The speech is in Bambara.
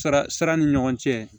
Sara sara ni ɲɔgɔn cɛ